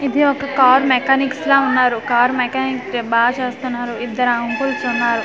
ఇది ఒక car mechanics లా ఉన్నారు కార్ మెకానిక్ బాగా చేస్తున్నారు ఇద్దరు అంకుల్స్ ఉన్నారు.